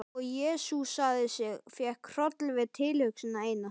Og jesúsaði sig, fékk hroll við tilhugsunina eina.